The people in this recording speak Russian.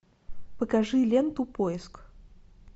покажи ленту поиск